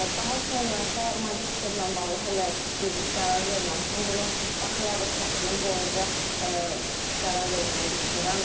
Daha sonra isə magistrla bağlı hələ bir qərar verməmişəm, bunu bakalavr təhsilim boyunca qərar verməyi düşünürəm.